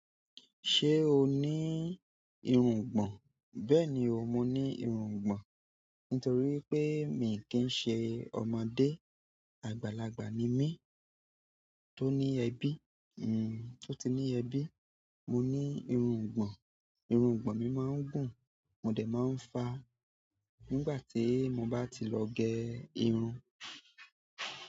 Ṣé o ní irungbọ̀n? Bẹ́ẹ̀ni o, mo ní irungbọ̀n. Nítorí pé mi kì n ṣe ọmọdé. Àgbàlagbà ni mí tó ní ẹbí, o tí ní ẹbí. Mo ní irungbọ̀n. Irungbọ̀n mi máa ń gùn, mo dẹ̀ máa ń fa nígbà tí mo bá ti lọ gé irun.